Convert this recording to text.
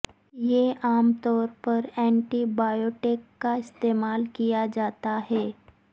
یہ عام طور پر اینٹی بایوٹک کا استعمال کیا جاتا ہے